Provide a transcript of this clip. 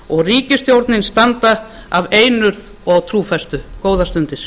og ríkisstjórnin standa af einurð og trúfestu góðar stundir